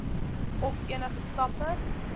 of enige stappe